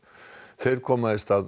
þeir koma í stað